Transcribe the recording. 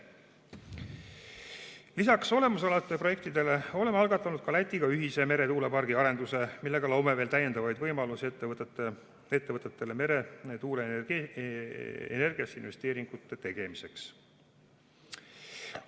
Lisaks olemasolevatele projektidele oleme algatanud ka Lätiga ühise meretuulepargi arenduse, millega loome veel täiendavaid võimalusi ettevõtetele meretuuleenergiasse investeeringute tegemiseks.